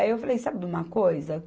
Aí eu falei, sabe de uma coisa?